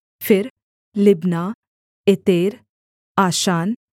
फिर Libnah Ether आशान